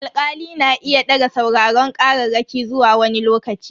Alkali na iya daga sauraron kararraki zuwa wani lokaci.